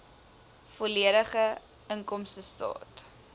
volledige inkomstestaat